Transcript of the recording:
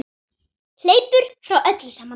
Hleypur frá öllu saman.